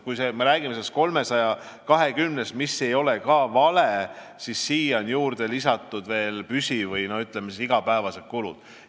Kui me räägime 320-st, mis ei ole ka vale, siis sinna on juurde lisatud püsikulud või igapäevased kulud.